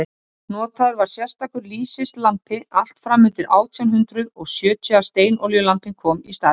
notaður var sérstakur lýsislampi allt fram undir átján hundrað og sjötíu að steinolíulampinn kom í staðinn